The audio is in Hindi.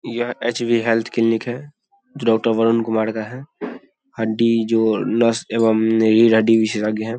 यह एच.पी. हेल्थ क्लीनिक हैं जो डॉक्टर वरुण कुमार का हैं आंटी जो नर्स एवं हड्डी विशेषज्ञ हैं|